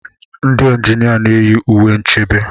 Ndị injinia na-eyi uwe nchebe.